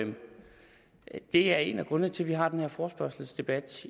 er en af grundene til at vi har den her forespørgselsdebat